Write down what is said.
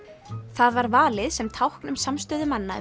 það var valið sem tákn um samstöðu manna